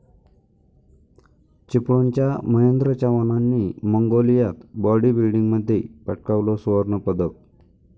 चिपळूणच्या महेंद्र चव्हाणांनी मंगोलियात बाॅडीबिल्डिंगमध्ये पटकावलं सुवर्णपदक